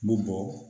N bɛ bɔ